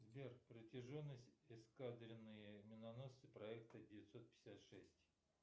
сбер протяженность эскадренные миноносцы проекта девятьсот пятьдесят шесть